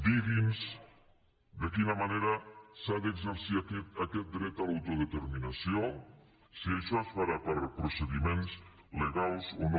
digui’ns de quina manera s’ha d’exercir aquest dret a l’autodeterminació si això es farà per procediments legals o no